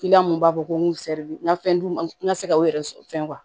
mun b'a fɔ ko n n ka fɛn d'u ma n ka se ka u yɛrɛ fɛn